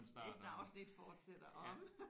Næste afsnit fortsætter om